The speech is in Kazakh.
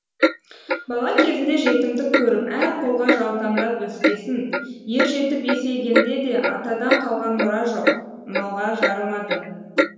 бала кезінде жетімдік көріп әр қолға жаутаңдап өскесін ер жетіп есейгенде де атадан қалған мұра жоқ малға жарымады